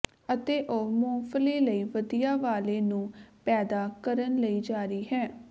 ਅਤੇ ਉਹ ਮੁੰਗਫਲੀ ਲਈ ਵਧੀਆ ਵਾਲੇ ਨੂੰ ਪੈਦਾ ਕਰਨ ਲਈ ਜਾਰੀ ਹੈ